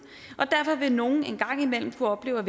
og derfor vil nogle en gang imellem kunne opleve at